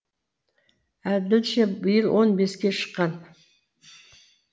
әділше биыл он беске шыққан